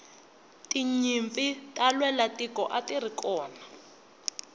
tinyimpi ta lwela tiko atirikona